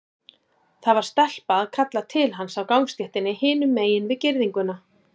Það var stelpa að kalla til hans á gangstéttinni hinum megin við girðinguna.